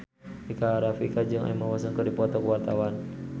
Rika Rafika jeung Emma Watson keur dipoto ku wartawan